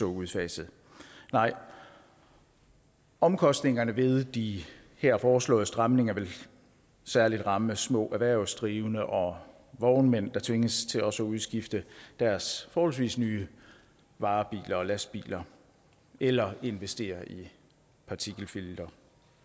udfaset nej omkostningerne ved de her foreslåede stramninger vil særlig ramme små erhvervsdrivende og vognmænd der tvinges til også at udskifte deres forholdsvis nye varebiler og lastbiler eller investere i partikelfiltre